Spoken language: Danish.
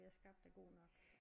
Vi har skabt er godt nok